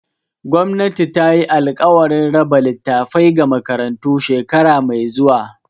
Gwamnati tayi alkawarin raba littafai ga makarantu shekara mai zuwa.